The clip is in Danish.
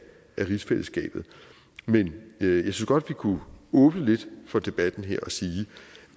rigsfællesskabet men synes godt vi kunne åbne lidt for debatten her og sige